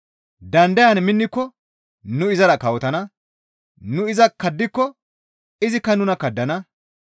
Dandayan minniko nu izara kawotana. Nu iza kaddiko izikka nuna kaddana.